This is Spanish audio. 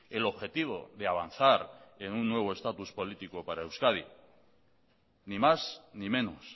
el objetivo de avanzar en un nuevo estatus político para euskadi ni más ni menos